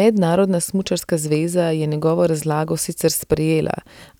Mednarodna smučarska zveza je njegovo razlago sicer sprejela,